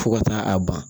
Fo ka taa a ban